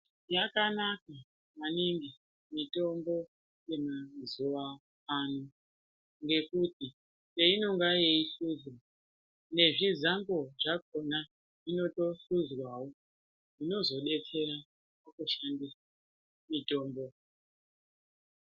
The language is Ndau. Yakanaka maningi mitombo ye mazuva ano ngekuti peinonga yei hluzwa nezvi zambo zvakona inoto hluzwawo zvinozo detsera paku shandisa mitombo.